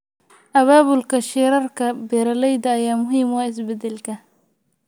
Abaabulka shirarka beeralayda ayaa muhiim u ah isbeddelka.